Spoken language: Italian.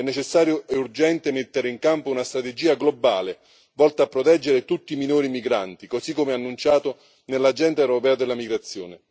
È necessario e urgente mettere in campo una strategia globale volta a proteggere tutti i minori migranti, così come annunciato nell'agenda europea della migrazione